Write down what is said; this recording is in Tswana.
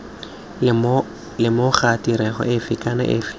lemoga tirego efe kana efe